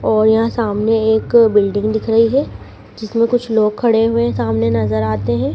और यहाँ सामने एक बिल्डिंग दिख रही हैं जिसमें कुछ लोग खड़े हुवे सामने नजर आते हैं।